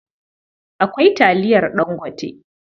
Akwai taliyar Dangote.